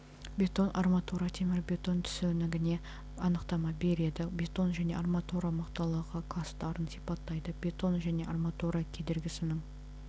бетон арматура темірбетон түсінігіне анықтама береді бетон және арматура мықтылығы кластарын сипаттайды бетон және арматура кедергісінің